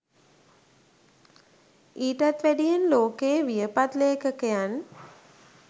ඊටත් වැඩියෙන් ලෝකයේ වියපත් ලේඛකයන්